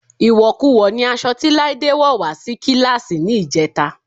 Ìwọ̀kuwọ̀ ni aṣọ tí Láídé wọ́ wà á sí kíláàsì ní ìjẹta